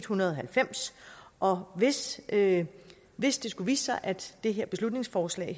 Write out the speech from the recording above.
hundrede og halvfems og hvis det hvis det skulle vise sig at det her beslutningsforslag